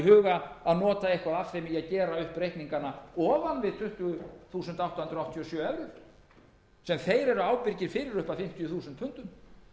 huga að nota eitthvað af þeim í að gera upp reikningana ofan við tuttugu þúsund átta hundruð áttatíu og sjö evrur sem þeir eru ábyrgir fyrir upp að fimmtíu þúsund pundum